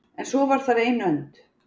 En svo var þar ein önd.